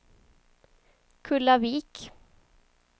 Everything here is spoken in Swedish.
Kullavik